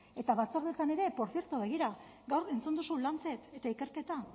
eta batzordeetan ere portzierto begira gaur entzun duzu lancet eta ikerketa